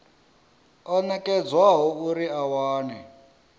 o nekedzwaho uri a wane